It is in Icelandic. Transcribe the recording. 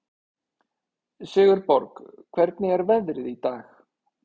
Sigurborg, hvernig er veðrið í dag?